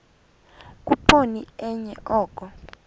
khuphoni enye oko